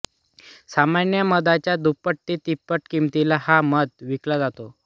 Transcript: सामान्य मधाच्या दुप्पट ते तिप्पट किमतीला हा मध विकला जातो